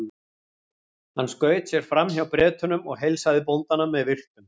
Hann skaut sér fram hjá Bretunum og heilsaði bóndanum með virktum.